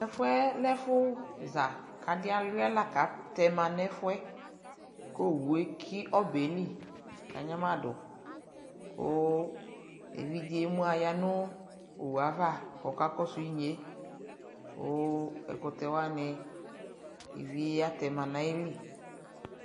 tʋ ɛƒʋɛ lɛ ɛƒʋ za kʋ adi awlia lakʋ atɛ manʋ ɛƒʋɛ kʋ ɔwʋ ɛki ɔbɛli kʋ anyama dʋ kʋ ɛvidzɛ ɛmʋ ayanʋ ɔwʋɛ aɣa kʋ ɔkakɔsʋ inyɛ kʋ ɛkʋtɛ wani iviɛ atɛma nʋ ayili.